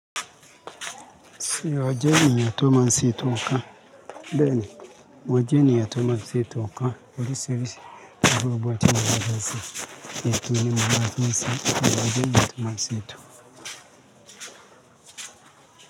Ṣé ọ́jẹ́ èyàn tó máa ń ṣe ètò kan? Bẹ́ẹ̀ni, mọ́n jẹ́ níyàn tó máa ṣe ètò kan oríṣiríṣi agbègbè àti ìlú ọdún sí ètò nínú àwọn àtúnsẹ ìwádí àtúmọ̀ sí ètò.